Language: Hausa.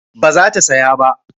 ba za ta saya ba